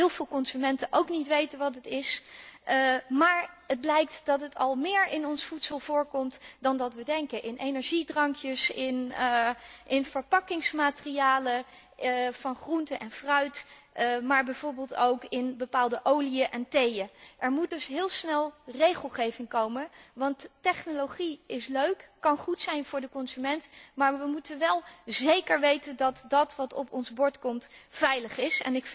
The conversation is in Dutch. Ik denk dat heel veel consumenten ook niet weten wat het is, maar het blijkt dat het al meer in ons voedsel voorkomt dan we denken in energiedrankjes, in verpakkingsmaterialen van groenten en fruit, maar bijvoorbeeld ook in bepaalde oliën en theeën. Er moet dus heel snel regelgeving komen, want technologie is leuk, kan goed zijn voor de consument, maar we moeten wel zeker weten dat wat op ons bord komt, veilig is.